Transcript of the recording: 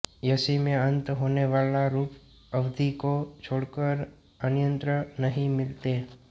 यसि में अंत होनेवाले रूप अवधी को छोड़कर अन्यत्र नहीं मिलते